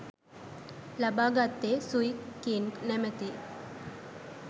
ලබාගත්තේ Sui King නමැති